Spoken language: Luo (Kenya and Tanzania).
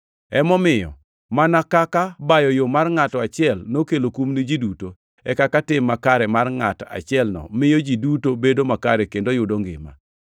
Emomiyo mana kaka bayo yo mar ngʼato achiel nokelo kum ni ji duto, e kaka tim makare mar ngʼat achielno miyo ji duto bedo makare kendo yudo ngima.